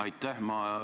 Aitäh!